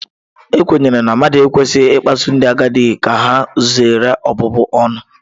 A kwenyere na mmadụ ekwesịghị ịkpasu ndị agadi ka ha zere ọbụbụ ọnụ.